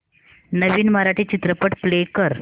नवीन मराठी चित्रपट प्ले कर